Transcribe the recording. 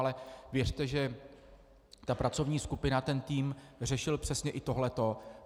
Ale věřte, že ta pracovní skupina, ten tým řešil přesně i tohleto.